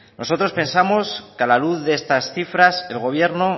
nosotros pensamos que a la luz de estas cifras el gobierno